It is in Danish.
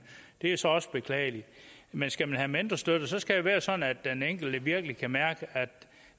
det er så også beklageligt men skal man have mentorstøtte skal det være sådan at den enkelte virkelig kan mærke at